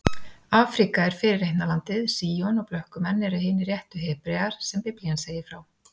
Afríka er fyrirheitna landið, Síon, og blökkumenn eru hinir réttu Hebrear sem Biblían segir frá.